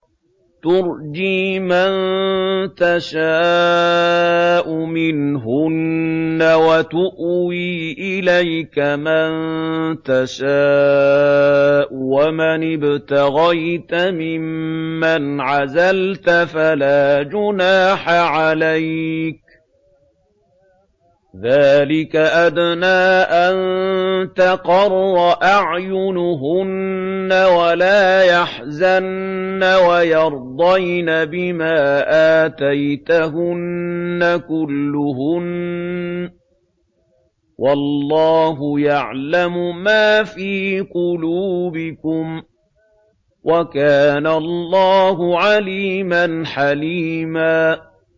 ۞ تُرْجِي مَن تَشَاءُ مِنْهُنَّ وَتُؤْوِي إِلَيْكَ مَن تَشَاءُ ۖ وَمَنِ ابْتَغَيْتَ مِمَّنْ عَزَلْتَ فَلَا جُنَاحَ عَلَيْكَ ۚ ذَٰلِكَ أَدْنَىٰ أَن تَقَرَّ أَعْيُنُهُنَّ وَلَا يَحْزَنَّ وَيَرْضَيْنَ بِمَا آتَيْتَهُنَّ كُلُّهُنَّ ۚ وَاللَّهُ يَعْلَمُ مَا فِي قُلُوبِكُمْ ۚ وَكَانَ اللَّهُ عَلِيمًا حَلِيمًا